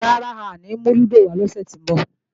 Rárá, a ò ní mú lúdò wá lọ́sè tó ń bọ̀